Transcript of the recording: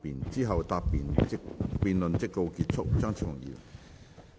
之後辯論即告結束。